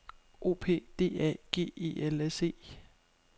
O P D A G E L S E